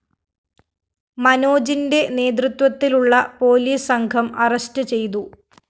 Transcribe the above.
മനോജിന്റെ നേതൃത്വത്തിലുള്ള പോലീസ് സംഘം അറസ്റ്റ്‌ ചെയ്തു